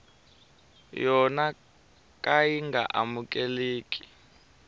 yo ka yi nga amukeleki